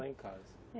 Só em casa.